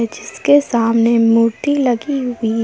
जिसके सामने मूर्ति लगी हुई है।